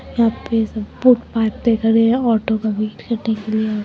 यहा पे सब फुटपाथ पे खड़े हैं ऑटो का वेट करने के लिए।